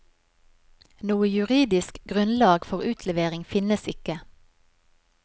Noe juridisk grunnlag for utlevering finnes ikke.